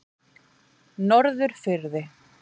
Norðurfirði